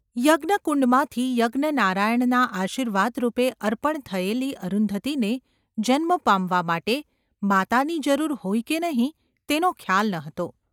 યજ્ઞકુંડમાંથી યજ્ઞનારાયણના આશીર્વાદરૂપે અર્પણ થયેલી અરુન્ધતીને જન્મ પામવા માટે માતાની જરૂર હોય કે નહિ તેનો ખ્યાલ ​ ન હતો.